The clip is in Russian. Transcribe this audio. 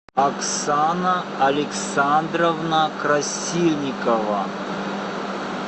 оксана александровна красильникова